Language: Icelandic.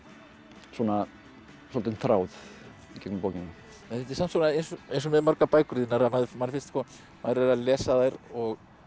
svona svolítinn þráð í gegnum bókina þetta er samt eins og með margar bækur þínar að manni finnst maður er að lesa þær og